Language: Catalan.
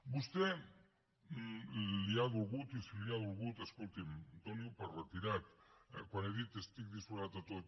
a vostè li ha dolgut i si li ha dolgut escolti’m doniho per retirat quan he dit que estic disposat a tot